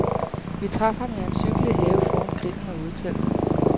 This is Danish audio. Vi traf ham i hans hyggelige have foran grillen og udeteltet.